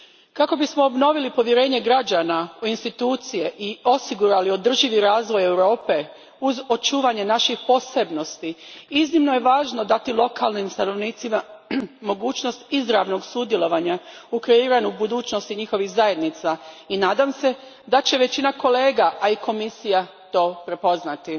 Kako bismo obnovili povjerenje građana u institucije i osigurali održivi razvoj Europe uz očuvanje naših posebnosti iznimno je važno dati lokalnim stanovnicima mogućnost izravnog sudjelovanja u kreiranju budućnosti njihovih zajednica i nadam se da će većina kolega, a i Komisija to prepoznati.